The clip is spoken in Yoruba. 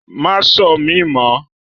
Má ṣọ́ mi mọ́!